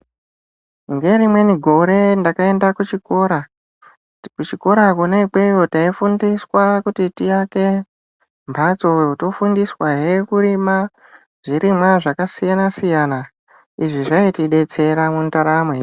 Ngerimweni gore ndakaende kuchikora. Kuchikora kwona ikweyo taifundiswa kuti tiake mbatso, tofundiswahe kurima zvirimwa zvakasiyana siyana. Izvi zvaitidetsera mundaramo yedu.